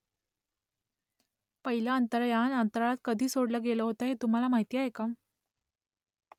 पहिलं अंतराळयान अंतराळात कधी सोडलं गेलं होतं ते तुम्हाला माहीत आहे का ?